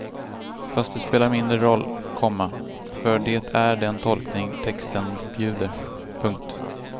Fast det spelar mindre roll, komma för det är den tolkning texten bjuder. punkt